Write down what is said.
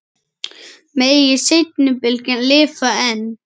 Megi seinni bylgjan lifa enn.